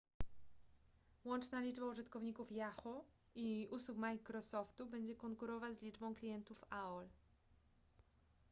łączna liczba użytkowników yahoo i usług microsoftu będzie konkurować z liczbą klientów aol